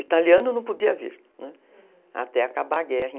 Italiano não podia vir, até acabar a guerra